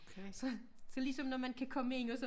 Du ved så så ligesom når man kan ind og så